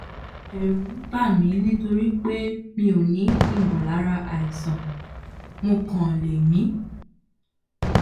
ẹ̀rù ń bà mí nítorí pé mi ò ní ìmọ̀lára àìsàn mo kàn lè mí